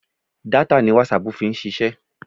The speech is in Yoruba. Data ni WhatsApp fi ń ṣiṣẹ́.